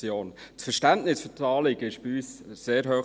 Das Verständnis für das Anliegen ist bei uns sehr hoch.